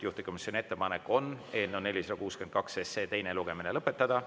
Juhtivkomisjoni ettepanek on eelnõu 462 teine lugemine lõpetada.